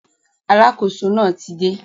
Alákóso náà ti dé